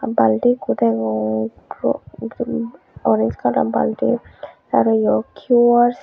balti ikko degong orens kalar balti arow yot quars.